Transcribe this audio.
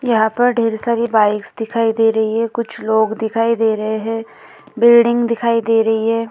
यहाँ पर ढेर सारी बाइक्स दिखाई दे रही है कुछ लोग दिखाई दे रहे है बिल्डिंग दिखाई दे रही है।